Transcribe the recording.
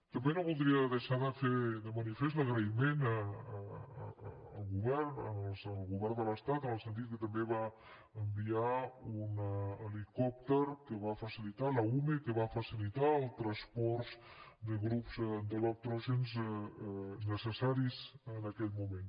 també no voldria deixar de posar de manifest l’agraïment al govern de l’estat en el sentit que també va enviar un helicòpter que va facilitar la ume que va facilitar el transport de grups electrògens necessaris en aquell moment